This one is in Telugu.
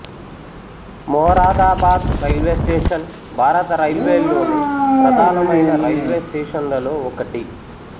మొరాదాబాద్ రైల్వే స్టేషన్ భారత రైల్వేల్లోని ప్రధానమైన రైల్వే స్టేషన్లలో ఒకటి